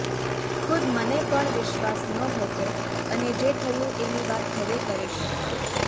ખુદ મને પણ વિશ્વાસ નહોતો અને જે થયું એની વાત હવે કરીશ